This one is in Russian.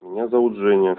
меня зовут женя